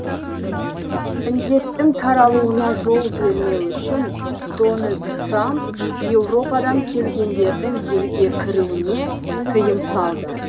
індеттің таралуына жол бермеу үшін дональд трамп еуропадан келгендердің елге кіруіне тыйым салды